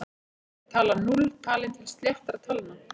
Er talan núll talin til sléttra talna?